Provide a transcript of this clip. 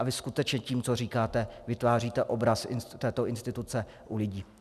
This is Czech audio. A vy skutečně tím, co říkáte, vytváříte obraz této instituce u lidí.